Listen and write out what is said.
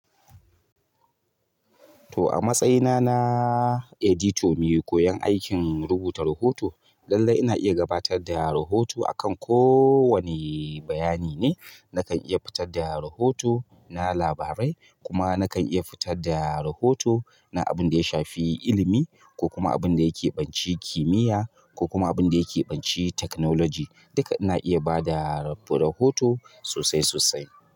To a matsayina na editor mai koyan aikin rubuta rahoto, lallai ina iya gabatar da rahoto akan kowane bayani ne. Na kan iya fitar da rahoto na labarai kuma na kan iya fitar da rahoto na abin da ya shafi ilimi ko kuma abin da ya kebanci kimiyya ko kuma abin da ya kebanci technology. Duka ina iya bada rahoto sosai sosai.